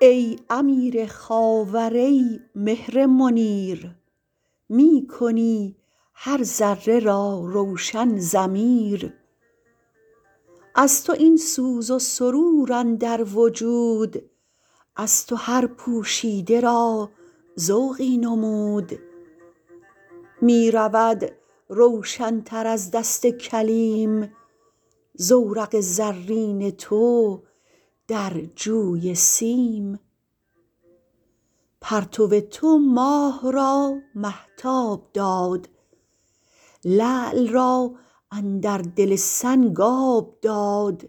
ای امیر خاور ای مهر منیر می کنی هر ذره را روشن ضمیر از تو این سوز و سرور اندر وجود از تو هر پوشیده را ذوق نمود می رود روشنتر از دست کلیم زورق زرین تو در جوی سیم پرتو تو ماه را مهتاب داد لعل را اندر دل سنگ آب داد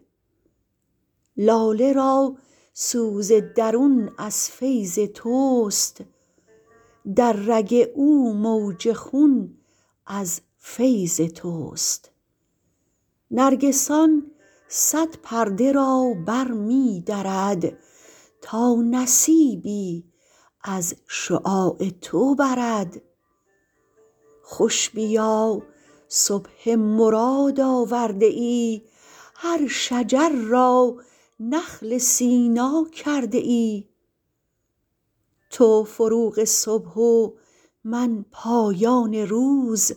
لاله را سوز درون از فیض تست در رگ او موج خون از فیض تست نرگسان صد پرده را بر می درد تا نصیبی از شعاع تو برد خوش بیا صبح مراد آورده یی هر شجر را نخل سینا کرده یی تو فروغ صبح و من پایان روز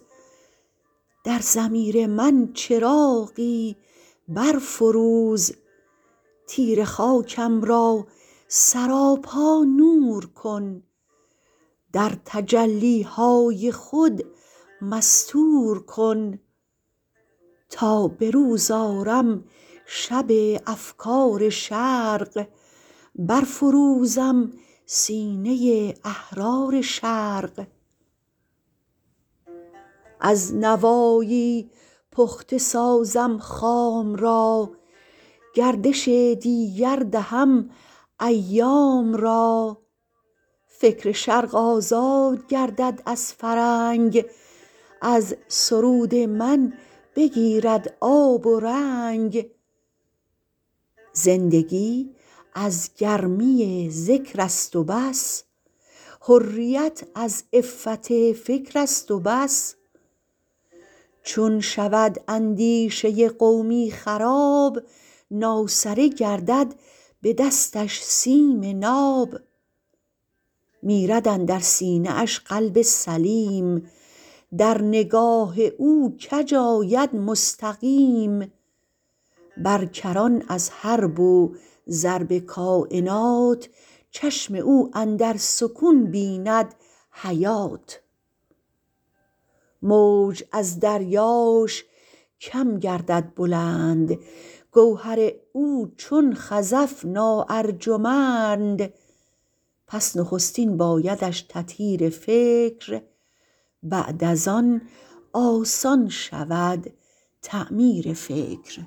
در ضمیر من چراغی بر فروز تیره خاکم را سراپا نور کن در تجلی های خود مستور کن تا بروز آرم شب افکار شرق بر فروزم سینه احرار شرق از نوایی پخته سازم خام را گردش دیگر دهم ایام را فکر شرق آزاد گردد از فرنگ از سرود من بگیرد آب و رنگ زندگی از گرمی ذکر است و بس حریت از عفت فکر است و بس چون شود اندیشه قومی خراب ناسره گردد بدستش سیم ناب میرد اندر سینه اش قلب سلیم در نگاه او کج آید مستقیم بر کران از حرب و ضرب کاینات چشم او اندر سکون بیند حیات موج از دریاش کم گردد بلند گوهر او چون خزف نا ارجمند پس نخستین بایدش تطهیر فکر بعد از آن آسان شود تعمیر فکر